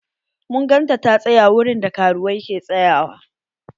Mun gan ta ta tsaƴa wurin da karuwai ke tsayawa.